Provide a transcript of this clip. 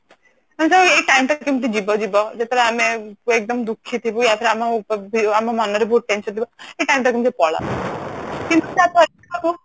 ଆମେ ଯୋଉ ଏଇ time ଟା କେମିତି ଯିବ ଯିବ ଯେତେବେଳେ ଆମେ ଦୁଃଖୀ ଥିବୁ ୟା ଫିର ଆମ ମନରେ ବହୁତ tension ଥିବ ଏଇ time ଟା କେମିତି ପଲଉ କିନ୍ତୁ